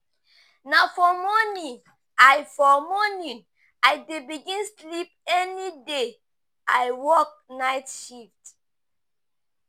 Na for morning I for morning I dey begin sleep any day I work night shift.